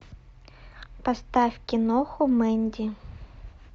поставь киноху мэнди